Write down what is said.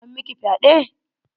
An miki fyaɗe?